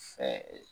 Fɛ